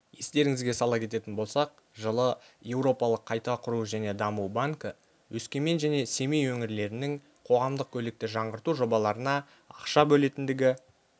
естеріңізге сала кететін болсақ жылы еуропалық қайта құру және даму банкі өскемен және семей өңірлерінің қоғамдық көлікті жаңғырту жобаларына ақша бөлетіндігі